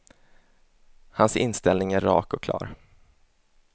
Hans inställning är rak och klar.